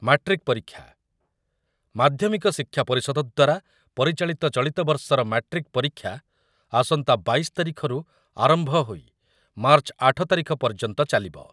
Matric ପରୀକ୍ଷା, ମାଧ୍ୟମିକ ଶିକ୍ଷା ପରିଷଦ ଦ୍ୱାରା ପରିଚାଳିତ ଚଳିତବର୍ଷର ମାଟ୍ରିକ୍ ପରୀକ୍ଷା ଆସନ୍ତା ବାଇଶି ତାରିଖରୁ ଆରମ୍ଭ ହୋଇ ମାର୍ଚ୍ଚ ଆଠ ତାରିଖ ପର୍ଯ୍ୟନ୍ତ ଚାଲିବ ।